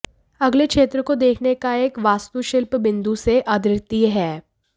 अगले क्षेत्र को देखने का एक वास्तुशिल्प बिंदु से अद्वितीय है